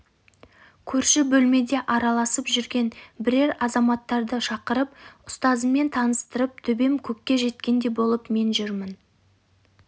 көрші бөлмеде араласып жүрген бірер азаматтарды шақырып ұстазыммен таныстырып төбем көкке жеткендей болып мен жүрмін